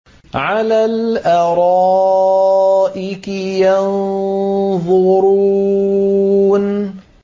عَلَى الْأَرَائِكِ يَنظُرُونَ